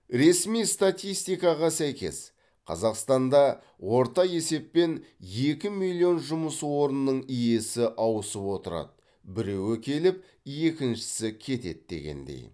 ресми статистикаға сәйкес қазақстанда орта есеппен екі миллион жұмыс орнының иесі ауысып отырады біреу келіп екіншісі кетеді дегендей